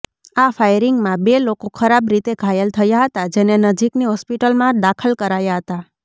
આ ફાયરિંગમાં બે લોકો ખરાબ રીતે ઘાયલ થયા હતા જેને નજીકની હોસ્પિટલમાં દાખલ કરાયા હતા